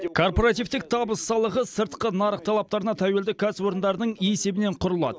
корпоративтік табыс салығы сыртқы нарық талаптарына тәуелді кәсіпорындардың есебінен құрылады